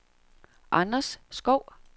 Anders Skov